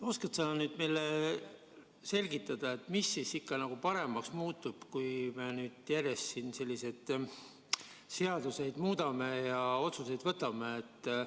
Oskad sa meile selgitada, mis siis ikkagi paremaks muutub, kui nüüd me nüüd järjest siin seadusi muudame ja otsuseid vastu võtame?